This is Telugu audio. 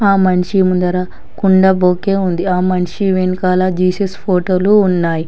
ఆ మనిషి ముందర కుండ బోకే ఉంది ఆ మనిషి వెనుకాల జీసస్ ఫోటోలు ఉన్నాయి.